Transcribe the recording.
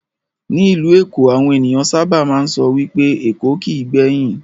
Ní ìlú èkó, àwọn ènìyàn sábà máa ń sọ wipé "Èkó kìí gbẹ̀yìn",